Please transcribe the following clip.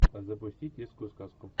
запусти детскую сказку